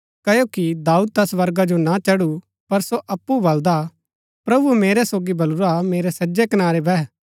क्ओकि दाऊद ता स्वर्गा जो ना चढु पर सो अप्पु बलदा प्रभुऐ मेरै प्रभु सोगी बलुरा मेरै सज्जै कनारै बैह